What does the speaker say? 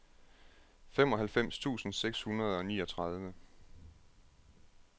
femoghalvfems tusind seks hundrede og niogtredive